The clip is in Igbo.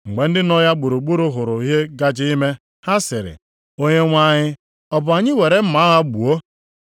Mgbe ndị nọ ya gburugburu hụrụ ihe gaje ime, ha sịrị, “Onyenwe anyị, ọ bụ anyị were mma agha gbuo?”